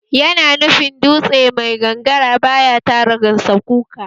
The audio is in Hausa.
Yana nufin dutse mai gangara baya tara gansakuka